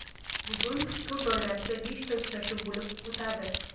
Bugun tur doirasida beshta uchrashuv bo‘lib o‘tadi.